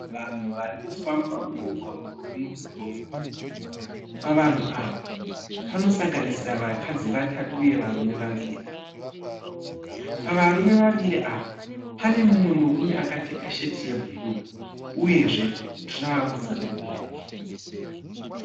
Vanhu vari kufamba mumugwagwa uri mudhorobha pavanhu ava panosanganisira vakadzi vatatu uye varume vaviri, pavarume vaviri ava pane mumwe murume akapfeka sheti yebhuru uyezve tirauzi rebhureki.